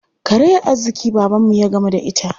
Karayar arziƙi babanmu ya gamu da ita.